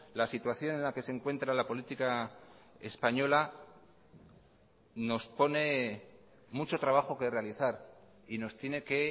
la situación en la que se encuentra la política española nos pone mucho trabajo que realizar y nos tiene que